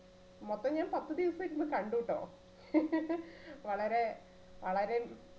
മൊത്തം ഞാൻ പത്ത് ദിവസം ഇരുന്ന് കണ്ടൂട്ടോ. വളരെ വളരെ